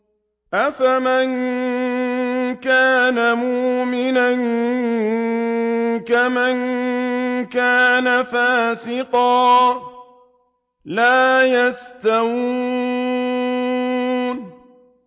أَفَمَن كَانَ مُؤْمِنًا كَمَن كَانَ فَاسِقًا ۚ لَّا يَسْتَوُونَ